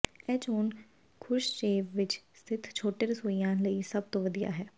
ਇਹ ਚੋਣ ਖੁਰਸ਼ਚੇਵ ਵਿੱਚ ਸਥਿਤ ਛੋਟੇ ਰਸੋਈਆਂ ਲਈ ਸਭ ਤੋਂ ਵਧੀਆ ਹੈ